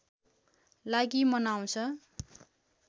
लागि मनाउँछ